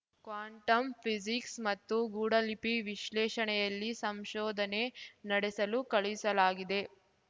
quantum physics ಮತ್ತು ಗೂಢಲಿಪಿ ವಿಶ್ಲೇಷಣೆಯಲ್ಲಿ ಸಂಶೋಧನೆ ನಡೆಸಲು ಕಳುಹಿಸಲಾಗಿದೆ